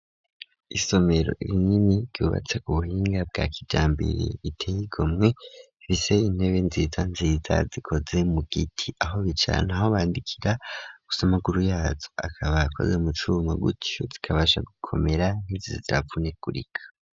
Isomero rinini ryubatse ku buhinga bwa kijambere ritey' igomwe, ifise intebe nziza nziza zikoze mu giti ,aho bicara naho bandikira gusamaguru yazo akaba akoze mucuma, gutyo zikabasha gukomera ntizize ziravunagurika.